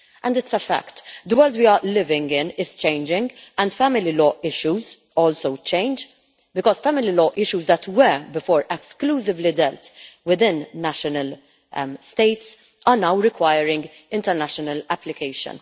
It is a fact that the world we are living in is changing, and family law issues also change because family law issues that, before, were exclusively dealt with within national states now require international application.